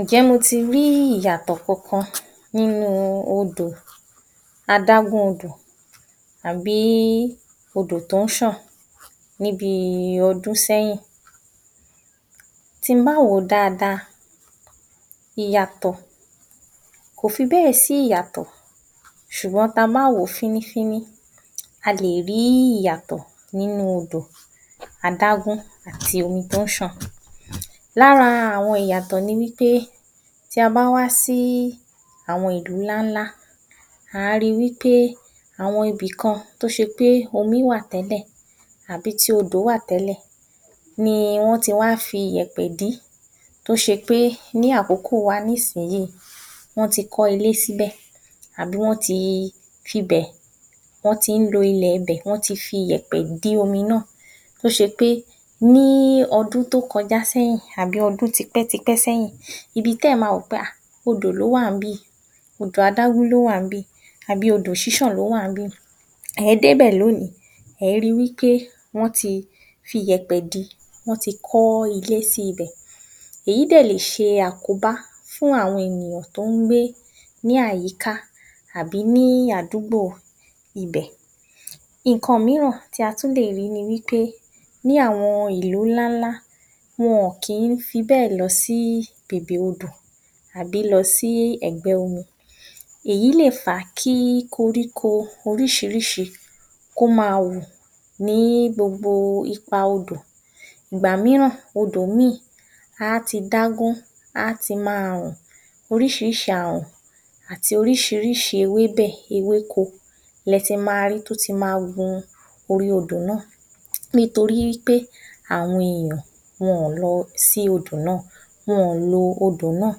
Ǹjẹ́ mo ti rí ìyàtọ̀ kankan nínu odò, adágún odò tàbí odò tó ń ṣàn níbi ọdún sẹ́yìn? Tí mbá wòó dada, ìyàtọ̀, kò fi bẹ́ẹ̀ sí ìyàtọ̀ ṣùgbọ́n tabá wòó fíní fíní, a lè rí ìyàtọ̀ nínu odò adágún àti omi tó ń ṣàn. Lára àwọn ìyàtọ̀ ni wípé tí a bá wá sí àwọn ìlú ńláńlá, ǎ ri wípé àwọn ibìkan, tó ṣe pé omí wà tẹ́lẹ̀, àbí tí odò wáà tẹ́lẹ̀, ni wọ́n ti wá fi iyèpẹ̀ dí, tó ṣe pé ní àkókò wa ní sìn yíì, wọ́n ti kọ́ ilé síbẹ̀, àbí wọ́n ti fi ibẹ̀, wọ́n ti ń lo ilèe bẹ̀, wọ́n ti fi iyèpẹ̀ dí omi náà. Tó ṣe pé ní ọdún tó kọjá sẹ́yìn, àbí ọdún t’ipẹ́, t’ipẹ́ sẹ́yìn, ibi tí èyán ti ma rò pé, ah! odò ló wà níbí, odò adágún ló wà níbí, àbí odò ṣíṣàn ló wà níbí. Ě dé’bẹ̀ lónìí, ě rí pé wọ́n ti fi iyèpẹ̀ di, wọ́n ti kọ́ ilé sí ibẹ̀. Èyí dẹ̀ lèse àkóbá fún àwọn èyàn tó ń gbé ní àyíká àbí ní àdúgbò igbẹ̀, ǹkan míràn tí a tún lè rí ni wípé ní àwọn ìlú ńláńlá, wọn ò kín fi bẹ́ẹ̀ lọ sí bèbè odò, àbì lọ sí ẹ̀gbẹ́ omi. Èyí lè fa kí koríko orísirísi, kó ma wù ní gbogbo ipa odò. Ìgbà míràn odò míì, àti dágún, á ti máa rùn, oríṣiríṣi àrùn, àti oríṣiríṣi ewé, ewé bẹ̀, ewé ko lẹ ti ma ri tó ti ma gun orí odò náà nítorí wípé àwọn èyàn, wọn ò lọ sí odò náà, wọn ò lo odò náà,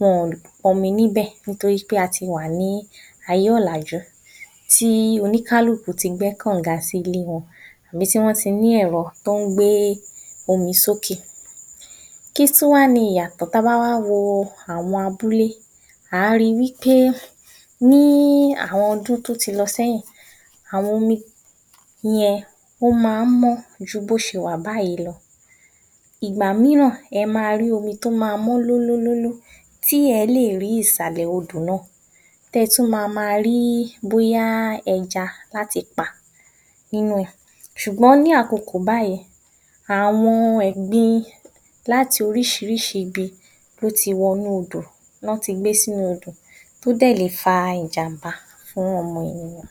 wọn ò pọnmi níbè nítorí pé a ti wà ní ayé ọ̀làjú, tí oníkálukú ti gbẹ́ kànga sí ilé wọn, ibi tí wọ́n ti ní ẹ̀rọ tó ń gbé omi sókè. Kí tún wá ni ìyàtọ̀ tabá wá wo àwọn abúlé, ǎ ri wípé ní àwọn ọdún tó ti lọ sẹ́yìn àwọn omi yẹn, ó má ń mọ́ ju bí ó ṣe wà báyìí lọ, ìgbà míràn e máa rí omi tó ma mọ́ lú lú lú lú, tí ẹ́ lè rí ìsàlẹ̀ odò náà, tí ẹ tún ma rí bóyá ẹja láti pa nínú ẹ̀, ṣùgbọ́n ní àkokó báyìí, àwọn ẹ̀gbin láti oríṣiríṣi ibi ló ti wọ inúu odò, ní wọ́n ti gbé sínu odò tó dẹ̀ lè fa ìjàmbá fún ọmọ ènìyàn